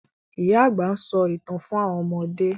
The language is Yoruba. Ìyá àgbà nso ìtàn fún àwọn ọmọdé.